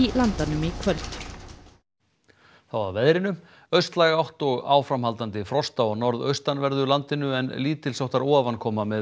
Landanum í kvöld þá að veðri austlæg átt og áframhaldandi frost á norðaustanverðu landinu en lítils háttar ofankoma með